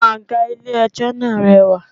5. Àwọn àga ilé ẹjọ́ náà rẹwà.